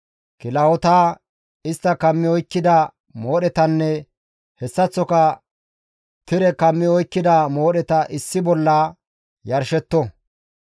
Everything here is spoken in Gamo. kilahota, istta kammi oykkida moodhetanne hessaththoka tire kammi oykkida moodheta issi bolla yarshetto.